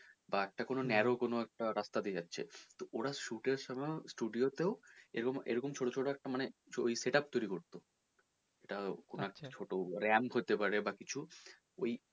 বা একটা narrow কোনো একটা রাস্তা তে যাচ্ছে তো ওরা shoot এর সময় studio তেও এরকম, এরকম ছোট ছোট একটা মানে ওই set up তৈরি করতো সেটা একটা কোনো ছোটো ramp হতে পারে বা কিছু ওই মানে,